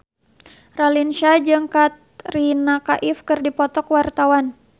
Raline Shah jeung Katrina Kaif keur dipoto ku wartawan